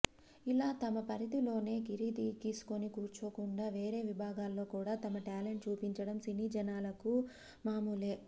ఇలా తమ పరిధిలోనే గిరి గీసుకుని కూర్చోకుండా వేరే విభాగాల్లో కూడా తమ టాలెంట్ చూపించడం సినీ జనాలకు మామూలే